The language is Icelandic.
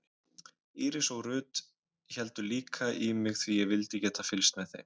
Íris og Ruth héldu líka í mig því ég vildi geta fylgst með þeim.